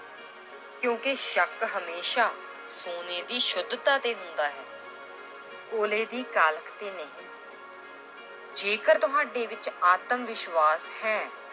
ਕਿਉਂਕਿ ਸ਼ੱਕ ਹਮੇਸ਼ਾ ਸੋਨੇ ਦੀ ਸੁੱਧਤਾ ਤੇ ਹੁੰਦਾ ਹੈ ਕੋਲੇ ਦੀ ਕਾਲਖ ਤੇ ਨਹੀਂ ਜੇਕਰ ਤੁਹਾਡੇ ਵਿੱਚ ਆਤਮ ਵਿਸ਼ਵਾਸ਼ ਹੈ,